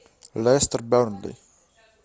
лестер бернли